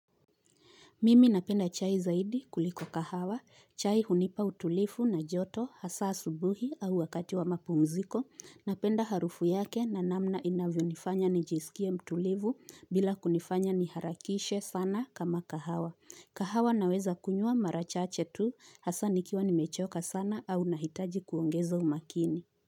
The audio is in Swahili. Mimi napenda chai zaidi kuliko kahawa, chai hunipa utulivu na joto hasa asubuhi au wakati wa mapumziko, napenda harufu yake na namna inavyonifanya nijisikie mtulivu bila kunifanya niharakishe sana kama kahawa. Kahawa naweza kunywa mara chache tu hasa nikiwa nimechoka sana au nahitaji kuongeza umakini.